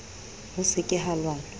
ho se ke ha lwanwa